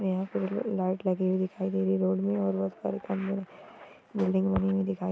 यहाँ पर लाईट लगी हुई दिखाय दे रही है रोड में और रोड पर खभे बिल्डिंग बनी दिखाय दे रही है।